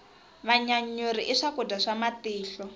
vanyanyuri i swakudya swa matihlo